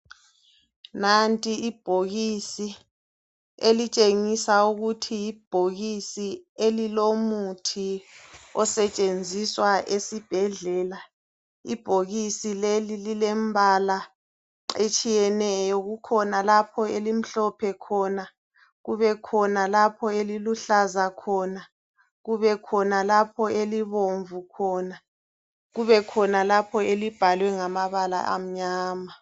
Nanti ibhokisi elitshengisa ukuthi yibhokisi elilomuthi osetshenziswa esibhedlela. Ibhokisi leli lilembala etshiyeneyo. Kukhona lapho elimhlophe khona kubekhona lapho eliluhlaza khona kubekhona lapho elibomvu khona kubekhona lapho elibhalwe ngamabala amnyama.